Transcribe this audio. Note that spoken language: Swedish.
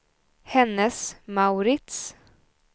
Hennes & Mauritz